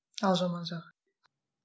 ал жаман жағы